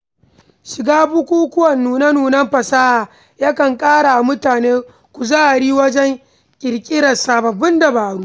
Shiga bukukuwan nune-nunen fasaha ya kan ƙara wa mutum kuzari wajen ƙirƙirar sababbin dabaru.